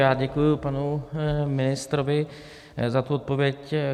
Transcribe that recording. Já děkuji panu ministrovi za tu odpověď.